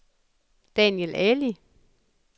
Daniel Ali